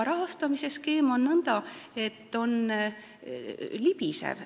Rahastamisskeem on libisev.